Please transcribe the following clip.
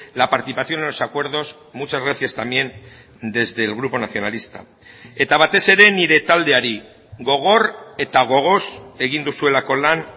la participación en los acuerdos muchas gracias también desde el grupo nacionalista eta batez ere nire taldeari gogor eta gogoz egin duzuelako lan